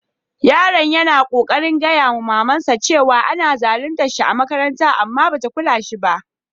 Yaron ya na kokarin gaya ma mama'n sa cewa ana zaluncin shi a'makaranta amma ba ta kulla da shi ba.